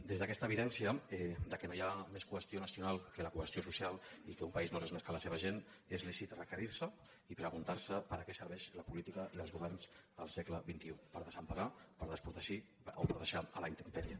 des d’aquesta evidència que no hi ha més qüestió nacional que la cohesió social i que un país no és res més que la seva gent és lícit requerir se i preguntar se per a què serveixen la política i els governs en el segle xxi per desemparar per desprotegir o per deixar a la intempèrie